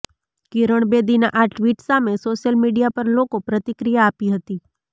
કિરણ બેદીનાં આ ટ્વીટ સામે સોશિયલ મીડિયા પર લોકો પ્રતિક્રિયા આપી હતી